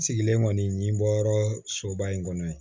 Sigilen kɔni ɲin bɔ yɔrɔ soba in kɔnɔ yen